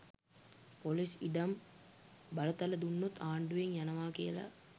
Police ඉඩම් බලතල දුන්නොත් ආණ්ඩුවෙන් යනවා කියලා.